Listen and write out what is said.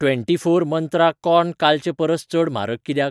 Twenty four Mantra corn कालचे परस चड म्हारग कित्याक ?